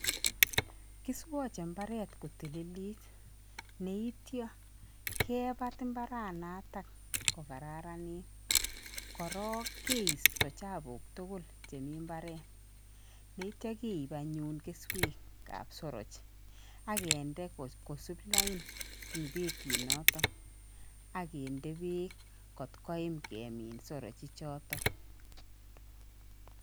Kiswache imbaaret ko tililit anityo kebat imbaraanata kokararanit, korok keisto chapuk tugul eng imbaaret neityo keip anyuun keswekab soroch akende kosuup lain eng petinoto ak kende beek kot koim kemin sorochichoto.